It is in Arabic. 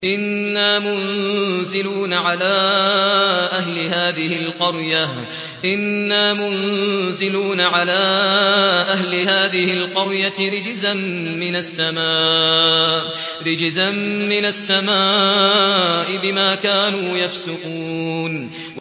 إِنَّا مُنزِلُونَ عَلَىٰ أَهْلِ هَٰذِهِ الْقَرْيَةِ رِجْزًا مِّنَ السَّمَاءِ بِمَا كَانُوا يَفْسُقُونَ